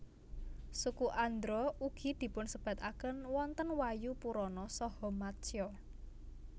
Suku Andhra ugi dipunsebataken wonten Wayu Purana saha Matsya